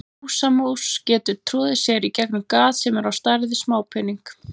Húsamús getur troðið sér í gegnum gat sem er á stærð við smápening.